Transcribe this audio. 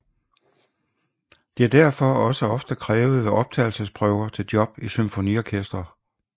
Det er derfor også ofte krævet ved optagelsesprøver til job i symfoniorkestre